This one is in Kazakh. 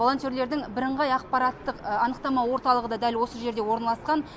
волонтерлердің бірыңғай ақпараттық анықтама орталығы да дәл осы жерде орналасқан